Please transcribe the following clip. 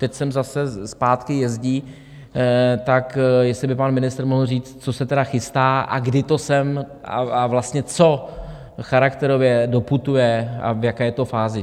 Teď sem zase zpátky jezdí, tak jestli by pan ministr mohl říct, co se teda chystá a kdy to sem, a vlastně co charakterově, doputuje a v jaké je to fázi?